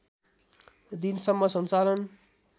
दिनसम्म सञ्चालन